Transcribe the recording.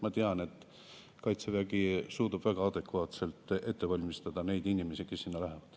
Ma tean, et Kaitsevägi suudab väga adekvaatselt ette valmistada neid inimesi, kes sinna lähevad.